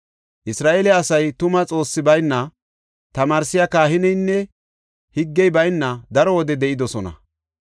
Isra7eele asay tuma Xoossi bayna, tamaarsiya kahineynne higgey bayna daro wode de7idosona.